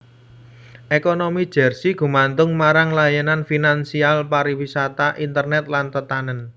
Ekonomi Jersey gumantung marang layanan finansial pariwisata internet lan tetanèn